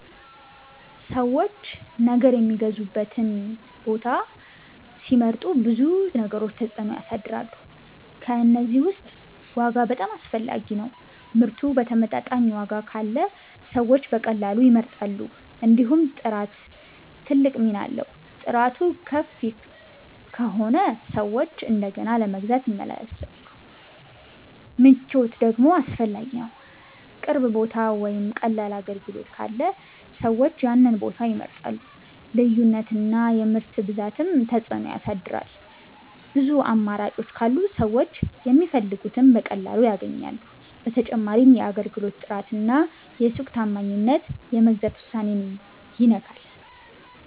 ሰዎች ነገር የሚገዙበትን ቦታ ሲመርጡ ብዙ ነገሮች ተጽዕኖ ያሳድራሉ። ከእነዚህ ውስጥ ዋጋ በጣም አስፈላጊ ነው፤ ምርቱ በተመጣጣኝ ዋጋ ካለ ሰዎች በቀላሉ ይመርጣሉ። እንዲሁም ጥራት ትልቅ ሚና አለው፤ ጥራቱ ከፍ ከሆነ ሰዎች እንደገና ለመግዛት ይመለሳሉ። ምቾት ደግሞ አስፈላጊ ነው፣ ቅርብ ቦታ ወይም ቀላል አገልግሎት ካለ ሰዎች ያንን ቦታ ይመርጣሉ። ልዩነት እና የምርት ብዛትም ተጽዕኖ ያሳድራል፤ ብዙ አማራጮች ካሉ ሰዎች የሚፈልጉትን በቀላሉ ያገኛሉ። በተጨማሪም የአገልግሎት ጥራት እና የሱቅ ታማኝነት የመግዛት ውሳኔን ይነካል።